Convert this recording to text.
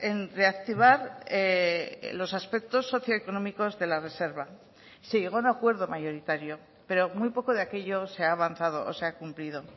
en reactivar los aspectos socioeconómicos de la reserva se llegó a un acuerdo mayoritario pero muy poco de aquello se ha avanzado o se ha cumplido